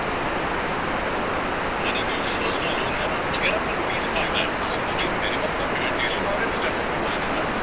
money view কে personal loan হ্যা না get up to rupees five lakhs ও ভি minimum document and instant approval কে সাথ